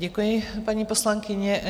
Děkuji, paní poslankyně.